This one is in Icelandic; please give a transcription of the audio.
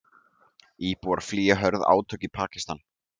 Íbúar flýja hörð átök í Pakistan